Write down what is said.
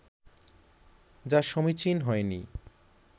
যা সমীচীন হয়নি